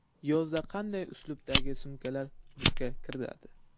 Yozda qanday uslubdagi sumkalar urfga kiradi?